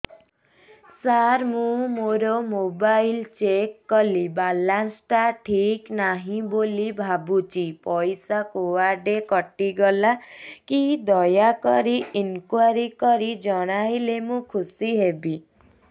ସାର ମୁଁ ମୋର mobile check କଲି ବାଲାନ୍ସ ଟା ଠିକ ନାହିଁ ବୋଲି ଭାବୁଛି ପଇସା କୁଆଡେ କଟି ଗଲା କି ଦୟାକରି ଇନକ୍ୱାରି କରି ଜଣାଇଲେ ମୁଁ ଖୁସି ହେବି